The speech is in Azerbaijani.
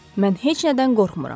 Mən heç nədən qorxmuram.